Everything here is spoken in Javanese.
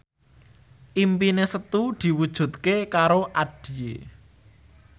impine Setu diwujudke karo Addie